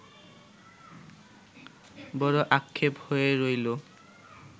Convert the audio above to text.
বড় আক্ষেপ হয়ে রইলো